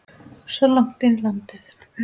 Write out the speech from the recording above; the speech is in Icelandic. Svo langt inn í landi?